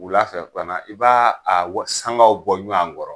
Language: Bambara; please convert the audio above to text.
wula fɛ fana i b'a a wa sangaw bɔ ɲɔan kɔrɔ